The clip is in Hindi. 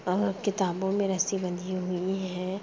और किताबों में रस्सी बंधी हुई है।